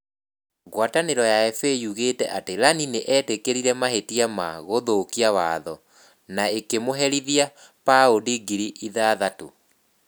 Ngwatanĩro ya FA yugĩte atĩ Ianni nĩ eetĩkĩrire mahĩtia ma "gũthũkia watho" na ĩkamũherithia paundi ngiri ithathatũ